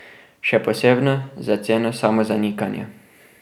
Še posebno za ceno samozanikanja.